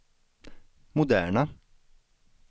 moderna